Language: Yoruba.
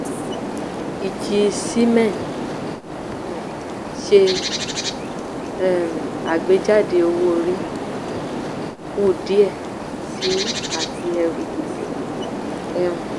ìjì siemens um ṣe um àgbéjáde owó-orí kù díẹ̀ síi àti ẹrù gbèsè um